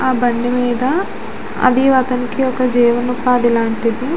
ఆ బండి మీద అది అతనికి ఒక జీవనోపాధి లాంటిది.